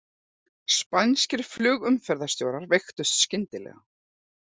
Spænskir flugumferðarstjórar veiktust skyndilega